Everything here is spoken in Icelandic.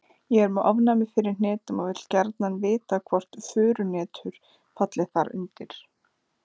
Ég er með ofnæmi fyrir hnetum og vil gjarnan vita hvort furuhnetur falli þar undir.